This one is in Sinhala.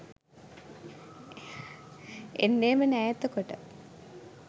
එන්නෙම නෑ එතකොට.